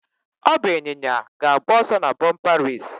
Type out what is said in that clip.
Ọ bụ ịnyịnya ga-agba ọsọ na bumper race.